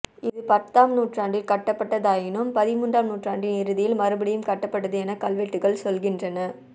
இது பத்தாம் நூற்றாண்டில் கட்டப்பட்டதாயினும் பதிமூன்றாம் நூற்றாண்டின் இறுதியில் மறுபடியும் கட்டப்பட்டது என கல்வெட்டுகள் சொல்கின்றன